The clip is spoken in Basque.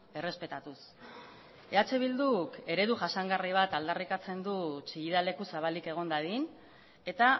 errespetatuz eh bilduk eredu jasangarri bat aldarrikatzen du chillida leku zabalik egon dadin eta